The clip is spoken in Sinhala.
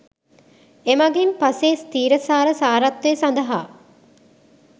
එමගින් පසේ ස්ථීරසාර සාරත්වය සඳහා